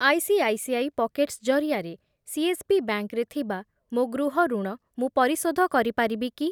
ICICI pockets ଜରିଆରେ CSB bank ରେ ଥିବା ମୋ ଗୃହ ଋଣ ମୁଁ ପରିଶୋଧ କରିପାରିବି କି?